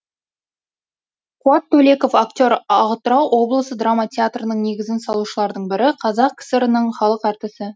қуат төлеков актер атырау облысы драма театрының негізін салушылардың бірі қазақ кср інің халық әртісі